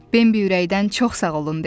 Bambi ürəkdən çox sağ olun dedi.